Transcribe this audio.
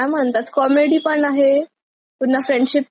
पुन्हा फ्रेंडशिप कशी असते ते सांगितलय.